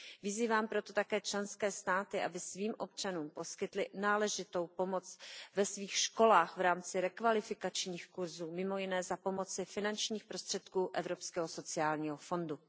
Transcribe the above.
Vyzývám proto také členské státy, aby svým občanům poskytly náležitou pomoc ve svých školách v rámci rekvalifikačních kurzů mimo jiné za pomoci finančních prostředků Evropského sociálního fondu.